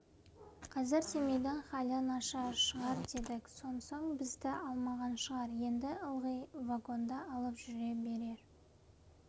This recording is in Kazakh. қазір семейдің халы нашар шығар дедік сонсоң бізді алмаған шығар енді ылғи вагонда алып жүре берер